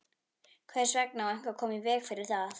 Hvers vegna á eitthvað að koma í veg fyrir það?